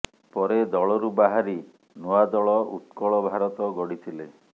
ପରେ ଦଳରୁ ବାହାରି ନୂଆ ଦଳ ଉତ୍କଳ ଭାରତ ଗଢିଥିଲେ